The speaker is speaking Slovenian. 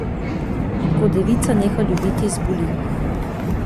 Ko devica neha ljubiti, zboli.